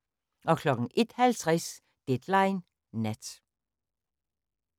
01:50: Deadline Nat